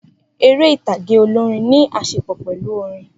Eré ìtàgé olórin ní àṣepọ̀ pẹ̀lú orin